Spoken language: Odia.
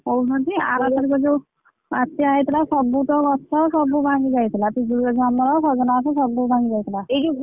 କହୁଛନ୍ତି ଆର ବର୍ଷ ଯୋଉ ବାତ୍ୟା ହେଇଥିଲା ସବୁ ତ ଗଛ ସବୁ ଭାଙ୍ଗି ଯାଇଥିଲା